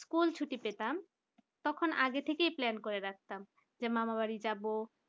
school ছুটি পেতাম তখন আগে থেকে plan করে রাখতাম যে মামার বাড়ি যাবো